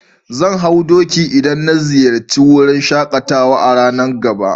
Zan hau doki idan na ziyace wurin shakatawa a'ranan gaba.